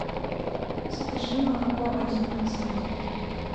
закажи молоко один процент